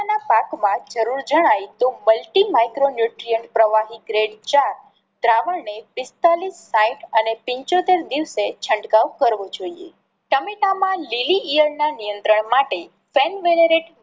ના પાકમાં જરૂર જણાય તો મલ્ટીમાઈક્રૉન ન્યુટ્રન પ્રવાહી ગ્રેડ ચાર દ્રાવણ ને પિસ્તાળીસ સાહીઠ અને પંચોતેર દિવસે છંટકાવ કરવો જોઈએ. ટામેટામાં લીલી ઇયળ ના નિયત્રંણ માટે